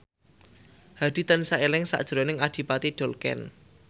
Hadi tansah eling sakjroning Adipati Dolken